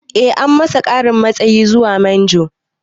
Eh an masa ƙarin matsayi zuwa manjo